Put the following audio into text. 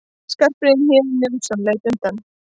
Skarphéðinn Njálsson leit undan.